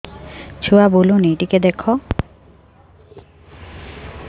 ଛୁଆ ବୁଲୁନି ଟିକେ ଦେଖ